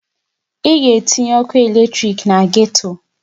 Ị ga-etinye ọkụ eletrik na geto!